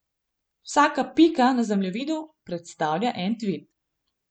Vsaka pika na zemljevidu predstavlja en tvit.